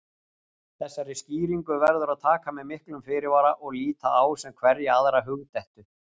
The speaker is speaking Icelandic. Þessari skýringu verður að taka með miklum fyrirvara og líta á sem hverja aðra hugdettu.